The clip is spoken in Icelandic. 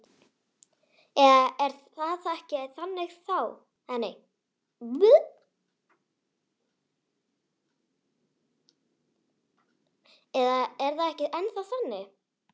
Eða er það ekki ennþá þannig?